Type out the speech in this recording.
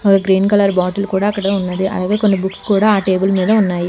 ఒక green colour bottle కూడా అక్కడే ఉన్నది అలాగే కొన్ని బుక్స్ కూడా ఆ టేబుల్ మీద ఉన్నాయి.